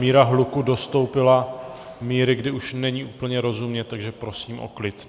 Míra hluku dostoupila míry, kdy už není úplně rozumět, takže prosím o klid.